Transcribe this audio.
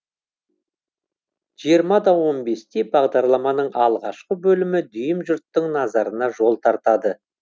жиырма да он бес те бағдарламаның алғашқы бөлімі дүйім жұрттың назарына жол тартады